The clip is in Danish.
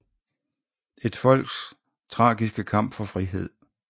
Et folks tragiske kamp for frihed